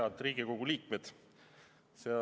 Head Riigikogu liikmed!